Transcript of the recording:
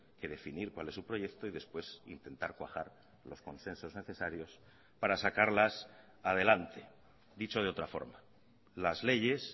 que definir cuál es su proyecto y después intentar cuajar los consensos necesarios para sacarlas adelante dicho de otra forma las leyes